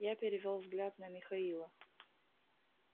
я перевёл взгляд на михаила